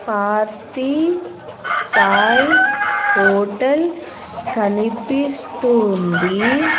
Parthi Sai hotel కనిపిస్తూ ఉంది.